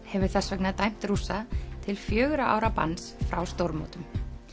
hefur þess vegna dæmt Rússa til fjögurra ára banns frá stórmótum